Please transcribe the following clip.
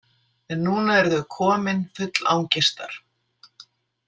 En núna eru þau komin, full angistar.